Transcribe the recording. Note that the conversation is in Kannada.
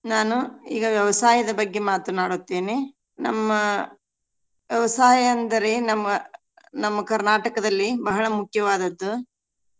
ನಾನು ಈಗ ವ್ಯವಸಾಯದ ಬಗ್ಗೆ ಮಾತನಾಡುತ್ತೇನೆ. ನಮ್ಮ ವ್ಯವಸಾಯ ಅಂದರೆ ನಮ್ಮ ನಮ್ಮ ಕರ್ನಾಟಕದಲ್ಲಿ ಬಹಳ ಮುಖ್ಯವಾದದ್ದು.